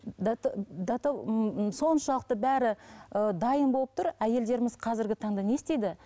соншалықты бәрі ыыы дайын болып тұр әйелдеріміз қазіргі таңда не істейді